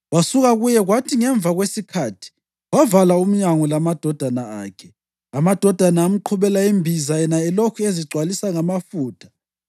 Wasuka kuye kwathi ngemva kwesikhathi wavala umnyango lamadodana akhe. Amadodana amqhubela imbiza yena elokhu ezigcwalisa ngamafutha.